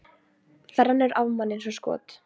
Það rennur af manni eins og skot.